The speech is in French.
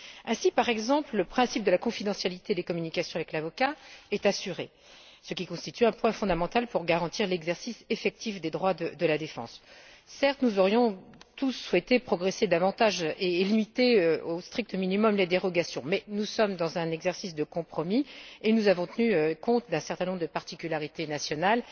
Ainsi, par exemple, le principe de la confidentialité des communications avec l'avocat est assuré, ce qui constitue un point fondamental pour garantir l'exercice effectif des droits de la défense. Certes, nous aurions tous souhaité progresser davantage et limiter les dérogations au strict minimum, mais nous sommes dans un exercice de compromis et nous avons tenu compte d'un certain nombre de particularités nationales